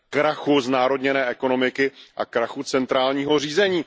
Krachu znárodněné ekonomiky a krachu centrálního řízení.